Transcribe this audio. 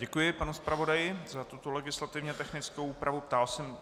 Děkuji panu zpravodaji za tuto legislativně technickou úpravu.